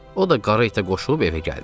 O da qara itə qoşulub evə gəldi.